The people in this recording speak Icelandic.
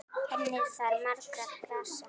Kennir þar margra grasa.